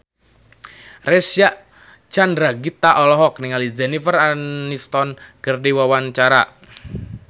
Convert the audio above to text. Reysa Chandragitta olohok ningali Jennifer Aniston keur diwawancara